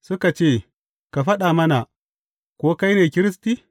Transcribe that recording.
Suka ce, Ka faɗa mana, ko kai ne Kiristi?